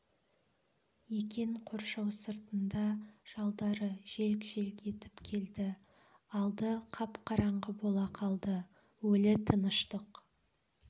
екен қоршау сыртында жалдары желк-желк етіп келді алды қап-қараңғы бола қалды өлі тыныштық